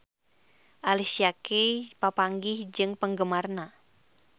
Alicia Keys papanggih jeung penggemarna